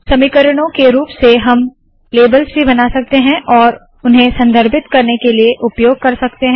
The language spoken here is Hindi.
समीकरणों के रूप से हम लेबल्स भी बना सकते है और उन्हें संदर्भित करने के लिए उपयोग कर सकते है